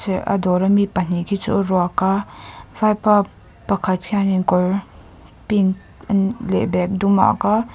a dawra mi pahnih khi chu aruak a vaipa pakhat hianin kawr pink leh bag dum a ak a.